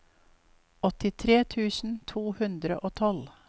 åttitre tusen to hundre og tolv